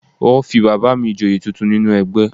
Wọ́n fi bàbà mi Ìjòyè tuntun nínú ẹgbẹ́